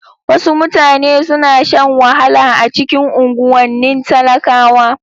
Wasu mutane suna shan wahala a cikin unguwannin talakawa.